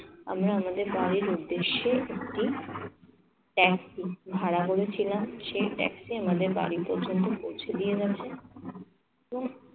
আমরা নিজেদের গাড়ির উদ্দেশ্যে একটি taxi ভাড়া করেছিলাম। সেই taxi আমাদের বারিতের জন্য পৌঁছে দিয়ে গেছে।